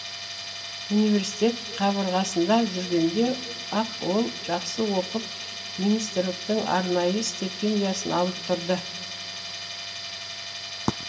университет қабырғасында жүргенде ақ ол жақсы оқып министрліктің арнайы стипендиясын алып тұрды